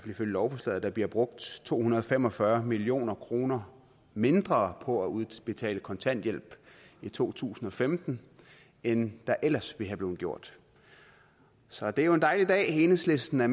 ifølge lovforslaget bliver brugt to hundrede og fem og fyrre million kroner mindre på at udbetale kontanthjælp i to tusind og femten end der ellers være blevet gjort så det er jo en dejlig dag enhedslisten og